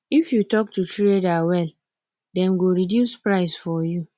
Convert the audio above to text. if you talk to trader well then go reduce price for you